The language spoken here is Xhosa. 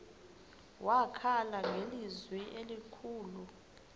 wakhala ngelizwi elikhulu